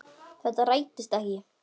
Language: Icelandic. Þetta rættist ekki.